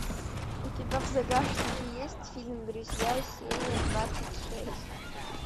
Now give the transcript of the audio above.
у тебя в загашнике есть фильм друзья серия двадцать шесть